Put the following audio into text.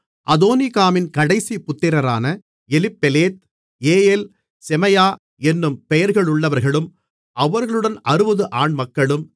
அதோனிகாமின் கடைசி புத்திரரான Eliphelet Jeiel Shemaiah என்னும் பெயர்களுள்ளவர்களும் அவர்களுடன் 60 ஆண்மக்களும்